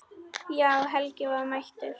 Já, Helgi var mættur.